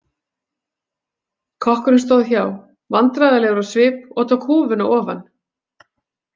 Kokkurinn stóð hjá vandræðalegur á svip og tók húfuna ofan.